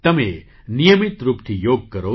તમે નિયમિત રૂપથી યોગ કરો